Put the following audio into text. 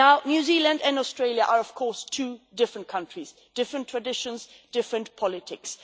New Zealand and Australia are, of course, two different countries different traditions, different politics.